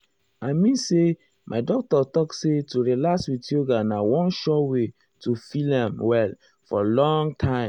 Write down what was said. i mean say my doctor talk say to relax with yoga na one sure way to feel erm well for long time.